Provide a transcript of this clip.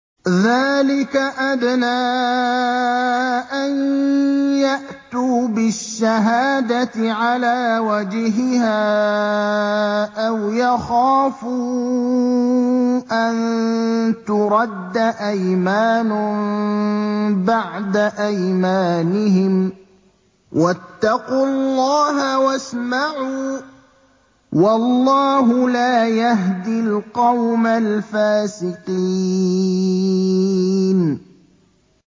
ذَٰلِكَ أَدْنَىٰ أَن يَأْتُوا بِالشَّهَادَةِ عَلَىٰ وَجْهِهَا أَوْ يَخَافُوا أَن تُرَدَّ أَيْمَانٌ بَعْدَ أَيْمَانِهِمْ ۗ وَاتَّقُوا اللَّهَ وَاسْمَعُوا ۗ وَاللَّهُ لَا يَهْدِي الْقَوْمَ الْفَاسِقِينَ